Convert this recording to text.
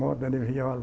Moda de viola.